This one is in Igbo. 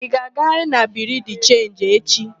Ị ga-agarịrị na Biriu de Chenji echi!